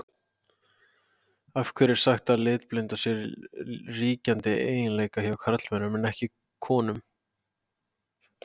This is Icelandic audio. Af hverju er sagt að litblinda sé ríkjandi eiginleiki hjá körlum en ekki konum?